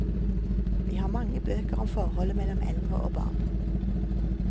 Vi har mange bøker om forholdet mellom eldre og barn.